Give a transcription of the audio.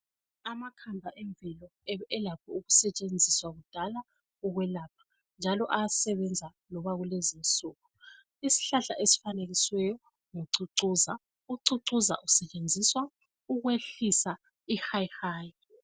Amakhambi emvelo ebe elakho ukusetshenziswa kudala ukwelapha njalo ayasebenza loba kulezinsuku. Isihlahla esifanekisiweyo ngucucuza, ucucuza usetshenziswa ukwehlisa ihayi hayi.